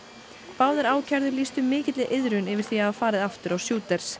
báðir ákærðu lýstu mikilli iðrun yfir því að hafa farið aftur á